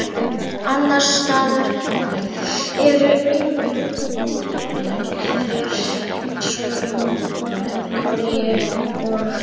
Annars staðar eru einræðisherrar eins og í Norður-Kóreu og